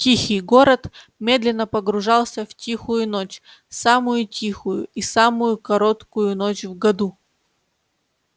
тихий город медленно погружался в тихую ночь самую тихую и самую короткую ночь в году